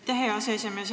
Aitäh, hea aseesimees!